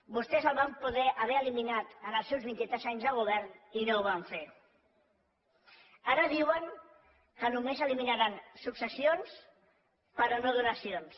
vostès l’haurien pogut eliminar en els seus vint i tres anys de govern i no ho van fer ara diuen que només eliminaran successions però no donacions